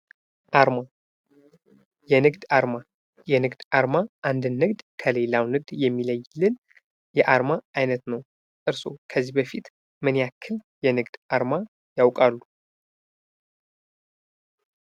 አርማ የንግድ አርማ የንግድ አርማ አንድን ንግድ ከሌላው የሚለይልን የአርማ አይነት ነው። እርስዎ ከዚህ በፊት ምን ያክል የንግድ አርማ ያውቃሉ?